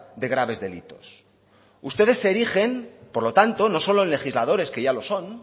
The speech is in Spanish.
de graves delitos ustedes se erigen por lo tanto no solo en legisladores que ya lo son